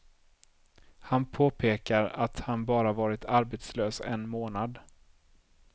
Han påpekar att han bara varit arbetslös en månad.